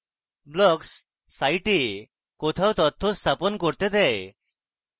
blocks site কোথাও তথ্য স্থাপন করতে দেয়